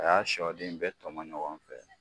A y'a sɔ den bɛɛ tɔmɔn ɲɔgɔn fɛ.